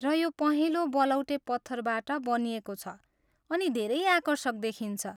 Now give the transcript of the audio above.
र यो पहेँलो बलौटे पत्थरबाट बनिएको छ अनि धेरै आकर्षक देखिन्छ।